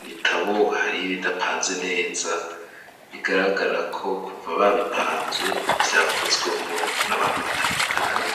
ibitabo hari ibidapanze neza bigaragarako kuva babipanze vyakozwemwo n'abantu batandukanye.